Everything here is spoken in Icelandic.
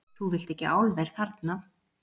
Þú vilt ekki álver þarna?